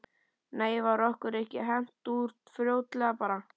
Nei var okkur ekki hent út fljótlega bara?